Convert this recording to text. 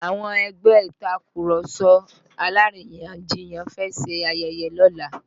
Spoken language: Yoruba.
Àwọn ẹgbẹ́ Ìtàkurọ̀sọ alárìyanjiyàn fẹ́ ṣe ayẹyẹ lọ́la